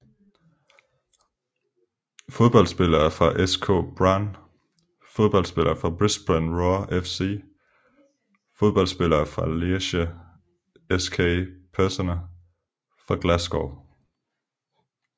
Fodboldspillere fra SK Brann Fodboldspillere fra Brisbane Roar FC Fodboldspillere fra Lierse SK Personer fra Glasgow